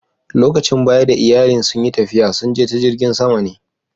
Lokacin baya da iyallin sun yi tafiya, sun je ta jirigin sama ne.